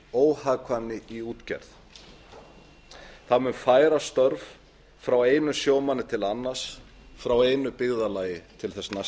óhagkvæmni í útgerð það mun færa störf frá einum sjómanni til annars frá einu byggðarlagi til þess næsta